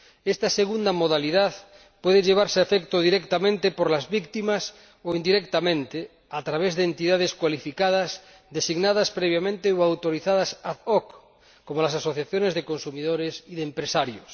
Esta segunda modalidad puede llevarse a efecto directamente por las víctimas o indirectamente, a través de entidades cualificadas, designadas previamente o autorizadas ad hoc como las asociaciones de consumidores y de empresarios.